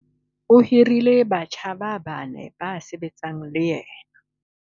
O hirile batjha ba bane ba sebetsang le yena.